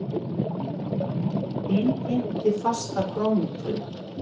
Innheimti fasta krónutölu